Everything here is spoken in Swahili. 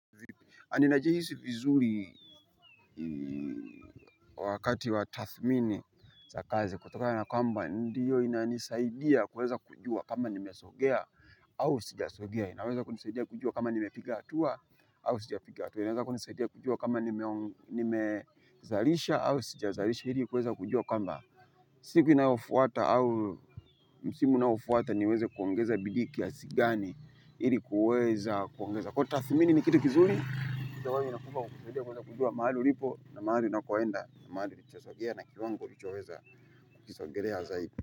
Ninajihisi vizuri wakati wa tathmini za kazi kutokana na kwamba ndiyo ina nisaidia kuweza kujua kama nimesogea au sijasogea inaweza kunisaidia kujua kama nimepiga hatua au sijapiga hatua inaweza kunisaidia kujua kama nimezalisha au sijazalisha ili kuweza kujua kwamba siku inayofuata au msimu unayofuata niweze kuongeza bidii kiasi gani ili kuweza kuongeza kwa tathmini ni kitu kizuri kitu ambapo inakupa kukusaidia kueza kujua mahali ulipo na mahali unakoenda na mahali unasongea na kiwango lichoweza kusongelea zaidi.